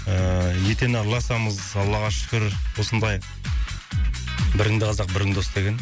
ыыы етене араласамыз аллаға шүкір осындай біріңді қазақ бірің дос деген